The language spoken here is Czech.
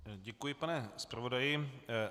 Děkuji, pane zpravodaji.